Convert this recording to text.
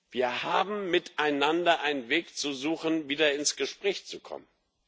Wir haben miteinander einen Weg zu suchen, wieder ins Gespräch zu kommen.